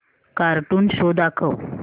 cartoon show दाखव